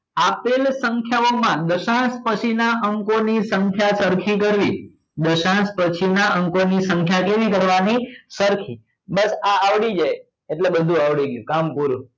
આપેલ સંખ્યા ઓ માં દશાંસ પછી ના અંકો ની સંખ્યા સરખી કરવી દશાંસ પછી ના અંકો ની સંખ્યા કેવી કરવા ની સરખી બસ આ આવડી જાય એટલે બધું આવડી જાય કામ પૂરું